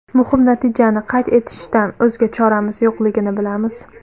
Muhim natijani qayd etishdan o‘zga choramiz yo‘qligini bilamiz.